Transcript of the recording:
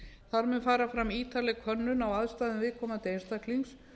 þar með fara fram ítarleg könnun á aðstæðum viðkomandi einstaklings